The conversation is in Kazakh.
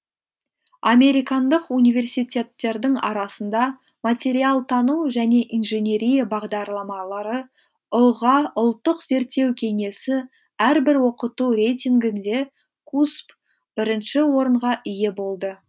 американдық университеттердің арасында материалтану және инженерия бағдарламалары ұға ұлттық зерттеу кеңесі әрбір оқыту рейтінгінде кусб бірінші орынға ие болды